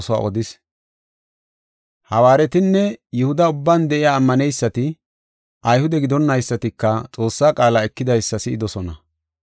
Hawaaretinne Yihuda ubban de7iya ammaneysati, Ayhude gidonaysatika Xoossaa qaala ekidaysa si7idosona.